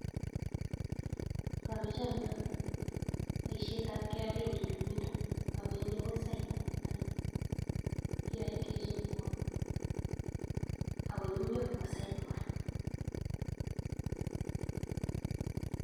Ngameche anyoe boisietab KRA eng nyumnyumindo awendi akoi cyber ako kiyae kechopwo ako nyumnyum nebo cyber kora.